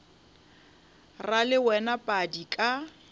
ra le wena padi ka